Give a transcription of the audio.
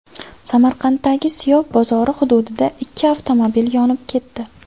Samarqanddagi Siyob bozori hududida ikki avtomobil yonib ketdi.